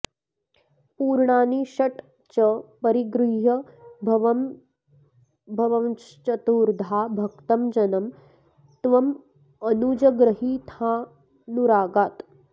पूर्णानि षट् च परिगृह्य भवंश्चतुर्धा भक्तं जनं त्वमनुजग्रहिथानुरागात्